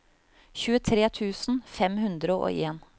tjuetre tusen fem hundre og en